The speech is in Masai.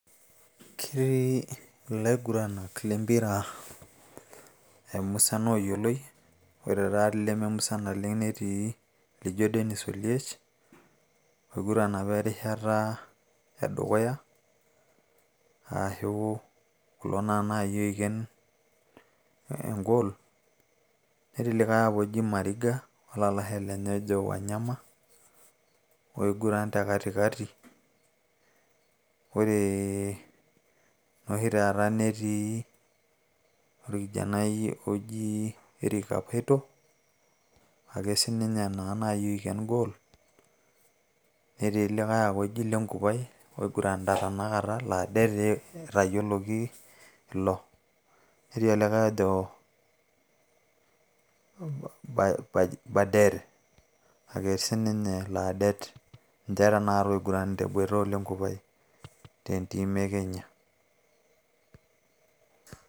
ketii ilaiguranak lempira ee musan oyioloi ore taati ileme musan oleng netii lijo Dennis oliech oiguran apa erishata e dukuya ashu kulo naa naaji oiken engol netii likay apa oji Mariga olalashe lenye ojo Wanyama oiguran te katikati ore nooshi taata netii orkijanai oji Erick kapaito ake sininye naaji oiken gol netii likay oji lenkupae oiguranita tena kata laa det etayioloki ilo netii olikay ojo baja baderr ake siininye laa det ninche tenakata oiguranita o lenkupae tenteam e kenya.